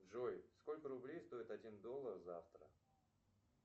джой сколько рублей стоит один доллар завтра